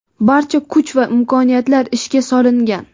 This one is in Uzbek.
barcha kuch va imkoniyatlar ishga solingan.